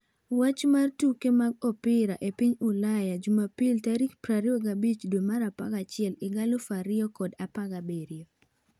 Wach mar tuke mag opira e piny Ulaya jumapil tarik 25. 11. 2017